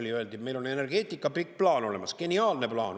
Meile öeldi, et on energeetika pikk plaan olemas, geniaalne plaan.